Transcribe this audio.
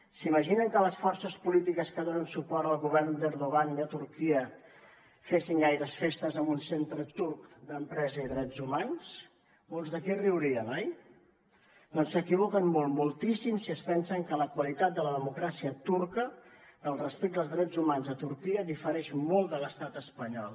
s’imaginen que les forces polítiques que donen suport al govern d’erdogan de turquia fessin gaires festes en un centre turc d’empresa i drets humans molts d’aquí riurien oi doncs s’equivoquen molt moltíssim si es pensen que la qualitat de la democràcia turca del respecte als drets humans a turquia difereix molt de l’estat espanyol